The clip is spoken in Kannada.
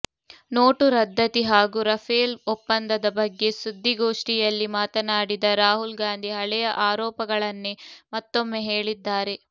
ನೋಟು ರದ್ಧತಿ ಹಾಗೂ ರಫೇಲ್ ಒಪ್ಪಂದದ ಬಗ್ಗೆ ಸುದ್ದಿಗೋಷ್ಠಿಯಲ್ಲಿ ಮಾತನಾಡಿದ ರಾಹುಲ್ ಗಾಂಧಿ ಹಳೆಯ ಆರೋಪಗಳನ್ನೇ ಮತ್ತೊಮ್ಮೆ ಹೇಳಿದ್ದಾರೆ